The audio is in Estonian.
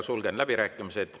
Sulgen nüüd läbirääkimised.